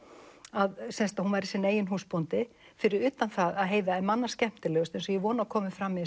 að hún væri sinn eigin húsbóndi fyrir utan að Heiða er manna skemmtilegust eins og ég vona að komi fram í